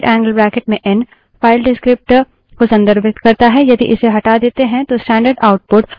N single rightangle bracket या N double rightangle bracket में N file descriptor को संदर्भित करता है